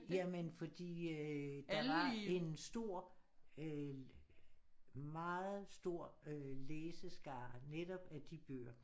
Jamen fordi øh der var en stor øh meget stor øh læseskare netop med de bøger